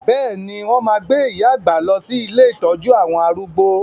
Bẹ́ẹ̀ni, wọn máa gbé iya àgbà lọ sí ilé ìtọ́jú àwọn arúgbó.